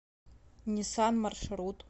ниссан маршрут